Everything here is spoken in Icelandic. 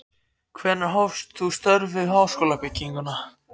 Hvenær hófst þú störf við háskólabygginguna